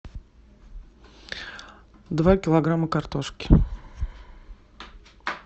два килограмма картошки